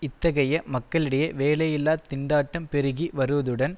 இத்தகைய மக்களிடையே வேலையில்லா திண்டாட்டம் பெருகி வருவதுடன்